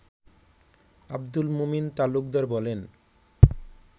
আব্দুল মোমিন তালুকদার বলেন